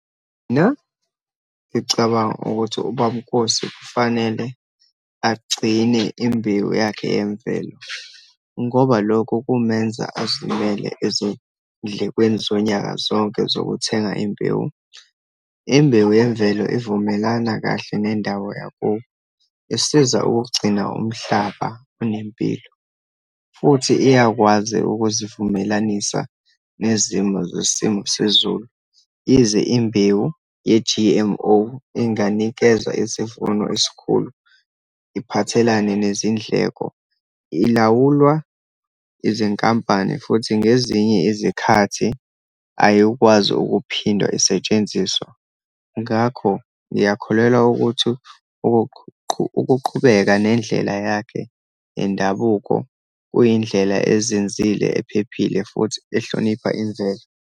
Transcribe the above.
Na, ngicabanga ukuthi uBab'Nkosi kufanele agcine imbewu yakhe yemvelo, ngoba lokho kumenza azimele ezindlekweni zonyaka zonke zokuthenga imbewu. Imbewu yemvelo ivumelana kahle nendawo yakubo, isiza ukugcina umhlaba unempilo, futhi iyakwazi ukuzivumelanisa nezimo zesimo sezulu. Yize imbewu ye-G_M_O inganikeza isivuno esikhulu, iphathelene nezindleko, ilawulwa izinkampani, futhi ngezinye izikhathi ayikwazi ukuphindwa isetshenziswa. Ngakho, ngiyakholelwa ukuthi ukuqhubeka nendlela yakhe yendabuko kuyindlela ezinzile, ephephile, futhi ehlonipha imvelo.